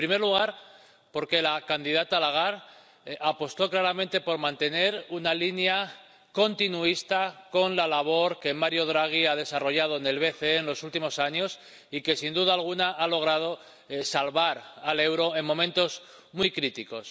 En primer lugar, porque la candidata Lagarde apostó claramente por mantener una línea continuista con la labor que Mario Draghi ha desarrollado en el BCE en los últimos años y que, sin duda alguna, ha logrado salvar al euro en momentos muy críticos.